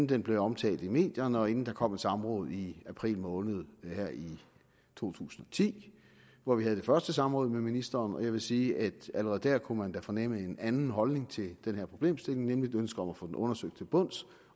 den blev omtalt i medierne og inden der kom et samråd i april måned to tusind og ti hvor vi havde det første samråd med ministeren jeg vil sige at allerede der kunne man fornemme en anden holdning til den her problemstilling nemlig et ønske om at få den undersøgt til bunds